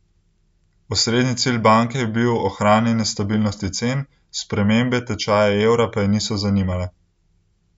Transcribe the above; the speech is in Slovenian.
Osrednji cilj banke je bil ohranjanje stabilnosti cen, spremembe tečaja evra pa je niso zanimale.